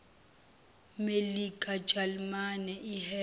melika jalimane iheha